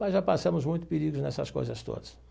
Mas já passamos muito perigo nessas coisas todas.